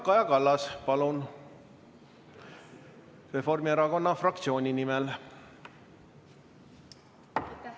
Kaja Kallas Reformierakonna fraktsiooni nimel, palun!